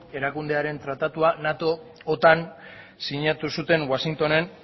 erakundearen tratatua nato otan sinatu zuten washingtonen